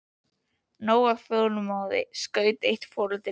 Og nóg af þolinmæði, skaut eitt foreldrið að.